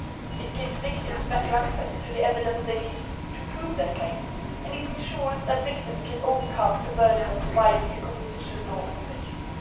It gives victims better access to the evidence they need to prove their claims and it ensures that victims can overcome the burden of providing a competition law infringement.